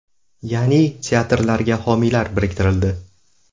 Ya’ni teatrlarga homiylar biriktirildi.